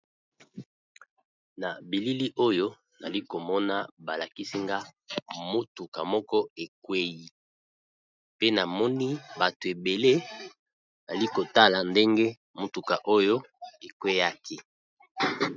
Na bilili oyo nazalaki komona balakisinga motuka moko ekwei pe namoni bato ebele bazali kotala ndenge motuka oyo ekweyi.